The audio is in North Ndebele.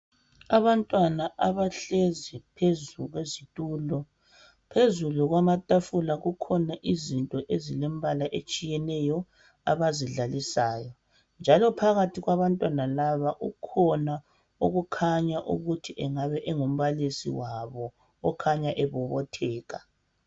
Abantwana abahlezi phezu kwezitulo, phezulu kwamatafula kukhona izinto ezilembala etshiyeneyo abazidlalisayo njalo phakathi kwabantwana laba ukhona okukhanya ukuthi engabe engumbalisi wabo okhanya ebobotheka.